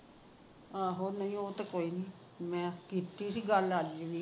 ਆਹੋ ਮੈਨੂੰ ਉਹ ਤਾਂ ਕੋਈ ਨੀ ਮੈ ਜੀ ਗੱਲ